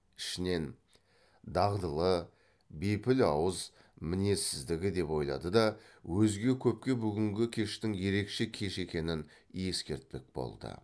ішінен дағдылы бейпіл ауыз мінезсіздігі деп ойлады да өзге көпке бүгінгі кештің ерекше кеш екенін ескертпек болды